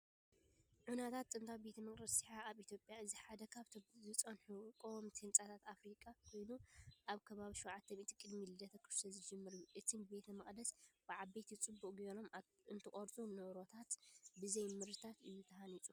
ዑናታት ጥንታዊ ቤተ መቕደስ የሓ ኣብ ኢትዮጵያ። እዚ ሓደ ካብቶም ዝጸንሑ ቀወምቲ ህንጻታት ኣፍሪቃ ኮይኑ፡ ካብ ከባቢ 700 ቅድሚ ልደተ ክርስቶስ ዝጅምር እዩ። እቲ ቤተ መቕደስ ብዓበይቲ ጽቡቕ ጌሮም እተቐርጹ ኖራታት ብዘይ ሞርታር እዩ ተሃኒጹ።